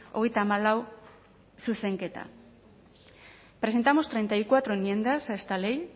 hogeita hamalau zuzenketa presentamos treinta y cuatro enmiendas a esta ley